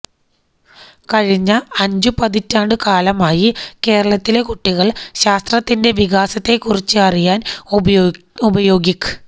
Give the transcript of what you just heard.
കഴിഞ്ഞ അഞ്ചു പതിറ്റാണ്ടു കാലമായി കേരളത്തിലെ കുട്ടികൾ ശാസ്ത്രത്തിന്റെ വികാസത്തെ കുറിച്ച് അറിയാൻ ഉപയോഗിക്